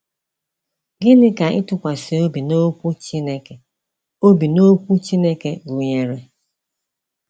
Gịnị ka ịtụkwasị Obi n’Okwu Chineke Obi n’Okwu Chineke gụnyere?